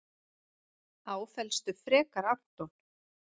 Áfellstu frekar Anton.